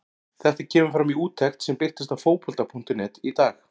Þetta kemur fram í úttekt sem birtist á Fótbolta.net í dag.